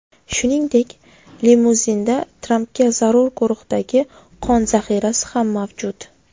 Shuningdek, limuzinda Trampga zarur guruhdagi qon zaxirasi ham mavjud.